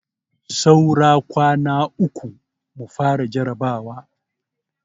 Saura kwana uku mu fara jarabawa.